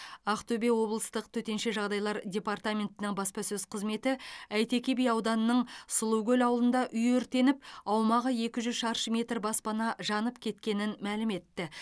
ақтөбе облыстық төтенше жағдайлар департаментінің баспасөз қызметі әйтеке би ауданының сұлукөл ауылында үй өртеніп аумағы екі жүз шаршы метр баспана жанып кеткенін мәлім етті